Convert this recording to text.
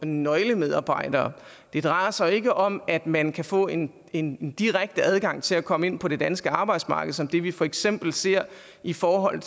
nøglemedarbejdere det drejer sig ikke om at man kan få en en direkte adgang til at komme ind på det danske arbejdsmarked som det vi for eksempel ser i forhold